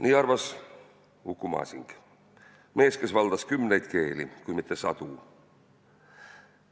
" Nii arvas Uku Masing – mees, kes valdas kümneid keeli, kui mitte sadu.